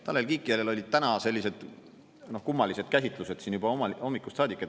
Tanel Kiik järel olid täna sellised kummalised käsitlused siin juba hommikust saadik.